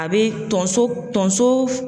A bɛ tonso tonso